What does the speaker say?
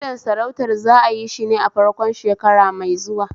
Naɗin sarautar za'ayi shine a farkon shekara mai zuwa